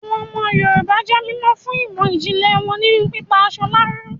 Àwọn ọmọ Yorùbá jé mímọ̀ fún ìmọ̀ ìjìnlẹ̀ wọn nínú pípa aṣọ láró